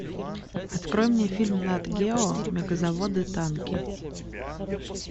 открой мне фильм нат гео мегазаводы танки